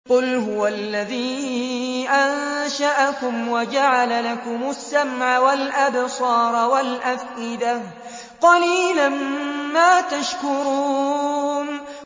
قُلْ هُوَ الَّذِي أَنشَأَكُمْ وَجَعَلَ لَكُمُ السَّمْعَ وَالْأَبْصَارَ وَالْأَفْئِدَةَ ۖ قَلِيلًا مَّا تَشْكُرُونَ